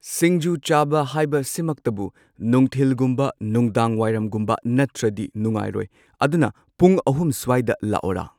ꯁꯤꯡꯖꯨ ꯆꯥꯕ ꯍꯥꯏꯕ ꯁꯤꯃꯛꯇꯕꯨ ꯅꯨꯡꯊꯤꯜꯒꯨꯝꯕ ꯅꯨꯡꯗꯥꯡꯋꯥꯏꯔꯝꯒꯨꯝꯕ ꯅꯠꯇ꯭ꯔꯗꯤ ꯅꯨꯡꯉꯥꯏꯔꯣꯏ ꯑꯗꯨꯅ ꯄꯨꯡ ꯑꯍꯨꯝ ꯁ꯭ꯋꯥꯏꯗ ꯂꯥꯛꯑꯣꯔꯥ